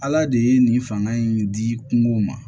Ala de ye nin fanga in di kungo ma